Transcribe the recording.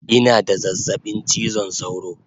Ina da zazzabin chizon sauro